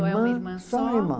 Ou é uma irmã só? Só uma irmã